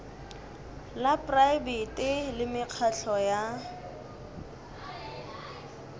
la praebete le mekgatlo ya